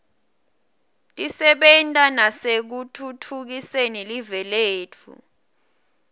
tisebenta nasekutfutfukiseni live letfu